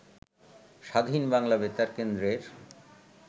স্বাধীন বাংলা বেতারকেন্দ্রের